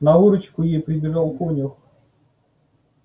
на выручку ей прибежал конюх